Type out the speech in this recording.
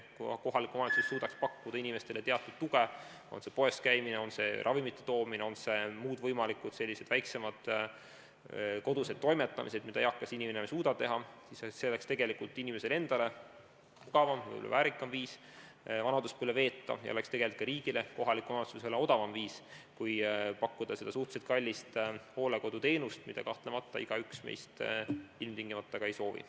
Kui kohalik omavalitsus suudaks pakkuda inimestele teatud tuge näiteks poes käimisel, ravimite toomisel, muude väiksemate koduste toimetuste puhul, mida eakas inimene enam ei suuda teha, siis see oleks inimesele mugavam ja ka väärikam viis vanaduspõlve veeta ning oleks tegelikult ka riigile, kohalikule omavalitsusele odavam viis kui pakkuda seda suhteliselt kallist hooldekoduteenust, mida kahtlemata igaüks meist ilmtingimata ka ei soovi.